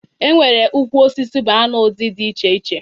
E nwere ukwu osisi banana ụdị di iche iche